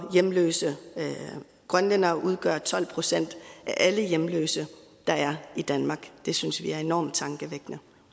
hjemløse grønlændere udgør tolv procent af alle hjemløse der er i danmark det synes vi er enormt tankevækkende